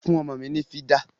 Fún ọmọ mi ni fìdà!